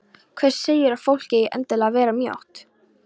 Hver segir að fólk eigi endilega að vera mjótt?